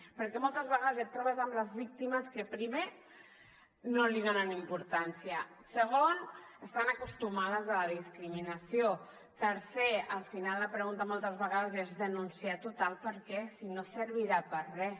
perquè moltes vegades et trobes amb les víctimes que primer no hi donen importància segon estan acostumades a la discriminació tercer al final la pregunta moltes vegades és denunciar total per què si no servirà per a res